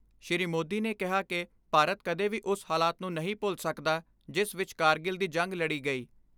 ਸ਼੍ਰੀ ਮੋਦੀ ਨੇ ਕਿਹਾ ਕਿ ਭਾਰਤ ਕਦੇ ਵੀ ਉਸ ਹਾਲਾਤ ਨੂੰ ਨਹੀਂ ਭੁੱਲ ਸਕਦਾ, ਜਿਸ ਵਿਚ ਕਾਰਗਿਲ ਦੀ ਜੰਗ ਲੜੀ ਗਈ।